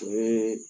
O ye